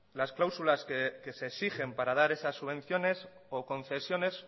las cláusulas que se exigen para dar esas subvenciones o concesiones